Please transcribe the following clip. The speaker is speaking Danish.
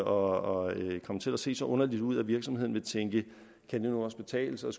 og komme til at se så underligt ud at virksomheden vil tænke kan det nu også betale sig